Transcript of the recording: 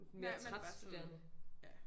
Man er bare studerende ja